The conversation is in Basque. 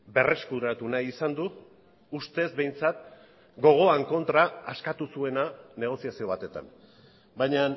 berreskuratu nahi izan du ustez behintzat gogoan kontra askatu zuena negoziazio batetan baina